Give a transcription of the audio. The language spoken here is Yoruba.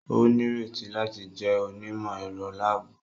O nireti láti jẹ onimọ-ẹrọ laabu